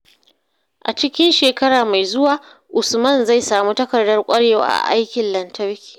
A cikin shekara mai zuwa, Usman zai sami takardar ƙwarewa a aikin lantarki.